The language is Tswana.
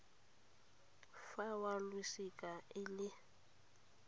fa wa losika e le